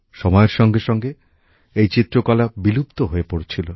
সময়ের সঙ্গে সঙ্গে এই চিত্রকলা বিলুপ্ত হয়ে পড়ছিল